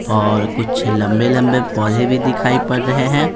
और कुछ लंबे-लंबे पौधे भी दिखाई पड़ रहे है।